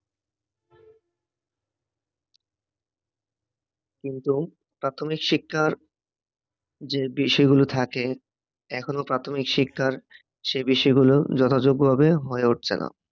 কিন্তু প্রাথমিক শিক্ষার যে বিষয়গুলো থাকে এখনও প্রাথমিক শিক্ষার সে বিষয়গুলো যথাযোগ্যভাবে হয়ে উঠছে না